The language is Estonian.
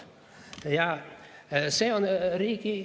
Ja see on riigi teha.